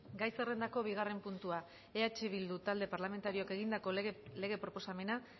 gai zerrendako bigarren puntua eh bildu talde parlamentarioak egindako lege proposamena